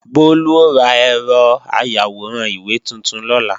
Bólú ó ra ẹ̀rọ ayàwòrán ìwé tuntun lọ́la